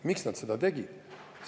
Miks nad seda tegid?